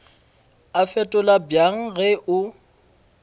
a fetola bjang ge o